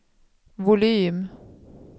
volym